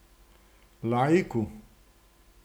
Laiku.